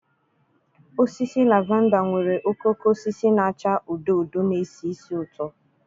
Osisi Lavender nwere okooko osisi na-acha odo odo na-esi ísì ụtọ.